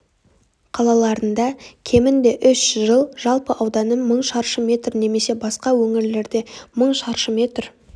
қалаларында кемінде үш жыл жалпы ауданы мың шаршы метр немесе басқа өңірлерде мың шаршы метр